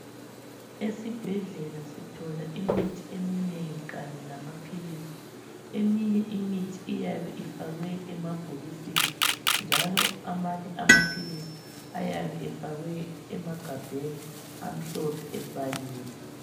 Esibhedlela sithola imithi eminengi kanye lamaphilisi. Eminye imithi iyabe ifakwe emabhokisini njalo amanye amaphilisi ayabe efakwe emagabheni amhlophe ebhaliwe.